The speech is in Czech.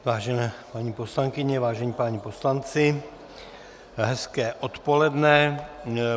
Vážené paní poslankyně, vážení páni poslanci, hezké odpoledne.